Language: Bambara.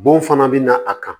Bon fana bɛ na a kan